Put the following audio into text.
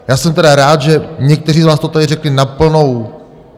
Já jsem tedy rád, že někteří z vás to tady řekli na plnou...